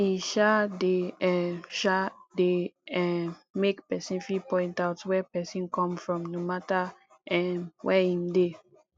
e um de um um de um make persin fit point out where persin come from no matter um where im de